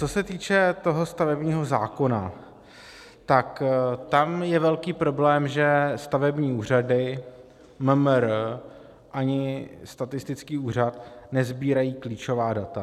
Co se týče toho stavebního zákona, tak tam je velký problém, že stavební úřady, MMR ani statistický úřad nesbírají klíčová data.